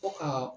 Fo ka